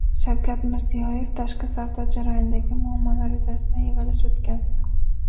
Shavkat Mirziyoyev tashqi savdo jarayonidagi muammolar yuzasidan yig‘ilish o‘tkazdi.